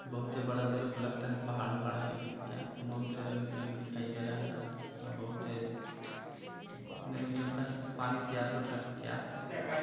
बहुते बड़ा मेरे को लगता है पहाड़ उहाड़ है की क्या बहुते रंग बिरंग दिखाई दे रहा है अउ बहुते मेरे को लगता है पानी का प्यासा था क्या--